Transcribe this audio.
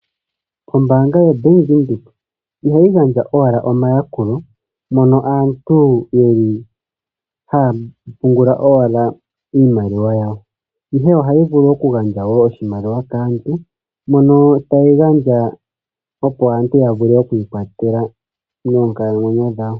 Ombanga ya Bank Windhoek ihayi gandja owala omayakulo, moka aantu yeli haya pungula owala iimaliwa yawo, ihe ohayi vulu wo oku gandja oshimaliwa kaantu, ano tayi gandja opo aantu ya vule okwii kwathela moonkalamwenyo dhawo.